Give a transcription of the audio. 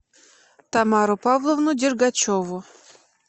тамару павловну дергачеву